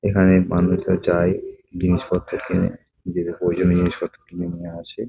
এখানে মানুষেরা যায় জিনিসপত্র কেনে প্রয়োজনীয় জিনিসপত্র কিনে নিয়ে আসে ।